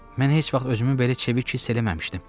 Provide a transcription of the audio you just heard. Mən heç vaxt özümü belə çevik hiss eləməmişdim.